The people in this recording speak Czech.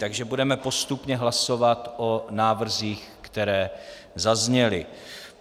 Takže budeme postupně hlasovat o návrzích, které zazněly.